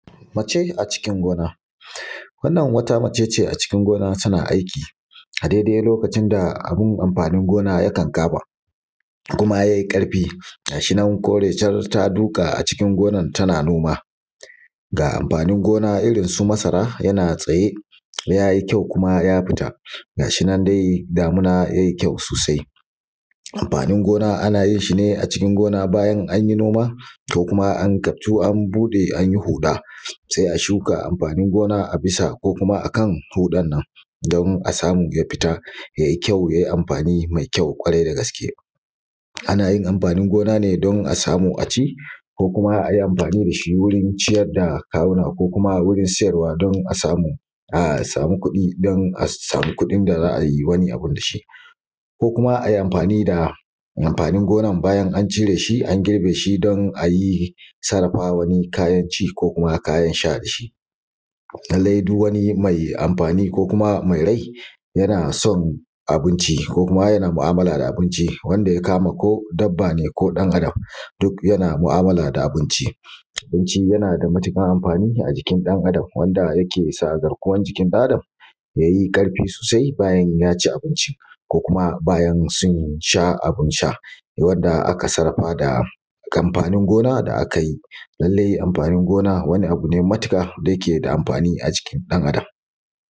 Mace a cikin gona wannan wata mace ce a cikin gona tana aiki a dai dai lokacin da abun amfanin gona ya kankama, kuma yayi ƙarfi, ga shi nan kore shar ta duƙa a cikin gonar tana noma, ga amfanin gona irin su masara, yana tsaye yayi kyau kuma ya fita, ga shi nan dai damuna yayi kyau sosai. Amfanin gona ana yin shi ne a cikin gona bayan an yi noma ko kuma an kaftu an buɗe a yi huɗa sai a shuka amfanin gona a bisa, ko kuma a kan huɗan nan don a samu ya fita yayi kyau yayi amfani mai kyau ƙwarai da gaske. Ana yin amfanin gona ne don a samu a ci ko kuma a yi amfani da shi wurin ciyar da kawuna, ko kuma wurin siyarwa don a samu kuɗi, don a samu kuɗin da za a yi wani abu da shi. Ko kuma a yi amfanin da amfanin gonan bayan an cire shi, an girbe shi don a yi sarrafa wani kayan ci, ko kuma kayan sha da shi. lalle duk wani mai amfani, ko kuma mai rai yana son abinci, ko kuma yana ma'amala da abinci wanda ya kama ko dabba ne ko ɗan Adam, duk yana ma'amala da abinci. Abinci yana da matuƙar amfani a jikin ɗan Adam wanda yake sa garkuwan jiki ɗan Adam ya yi ƙarfi sosai bayan ya ci abinci, ko kuma bayan su sha abin sha wanda aka sarrafa da amfanin gona da aka yi. Lalle amfanin gona wani abu ne matuƙa da yake da amfani a jikin ɗan Adam.